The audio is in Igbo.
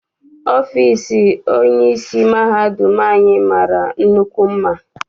Ọfịịsi onyeisi mahadum anyị mara nnukwu mma.